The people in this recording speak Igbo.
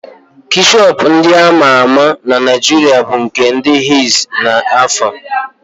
Keshọp ndị ama ama na Naịjiria bụ nke ndị henz na alfa.